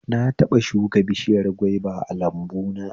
Na taɓa shuka bishiyar gwaiba a lambuna